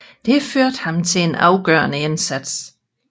Det førte ham til en afgørende indsigt